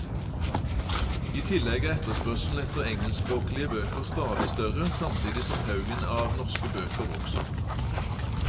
I tillegg er etterspørselen etter engelskspråklige bøker stadig større, samtidig som haugen av norske bøker vokser.